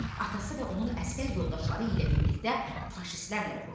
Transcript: Atası və onun əsgər yoldaşları ilə birlikdə faşistlərlə vuruşur.